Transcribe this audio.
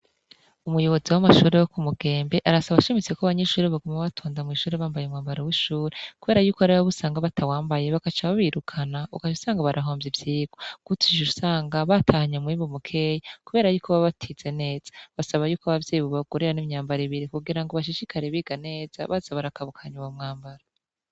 Umuyobozi w'amashure yo ku Mugenge, arasaba ashimitse ko abanyeshure bokwama batonda mw'ishure bambaye umwambaro w'ishure, kubera yuko harabo usanga batawambaye bakaca babirukana ukaca usanga barahomvye ivyigwa, guco ucusanga batahanye umwimbu mukeyi, kubera yuko baba batize neza, arasaba ko abavyeyi ko babagurira nk'imyambaro ibiri ngo bashishikara biga neza baza bara kabukanya uwo mwambaro.